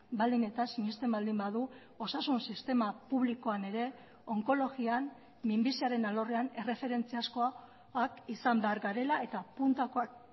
baldin eta sinesten baldin badu osasun sistema publikoan ere onkologian minbiziaren alorrean erreferentziazkoak izan behar garela eta puntakoak